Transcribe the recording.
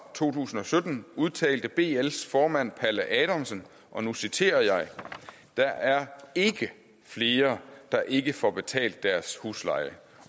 to tusind og sytten udtalte bls formand palle adamsen og nu citerer jeg der er ikke flere der ikke får betalt deres husleje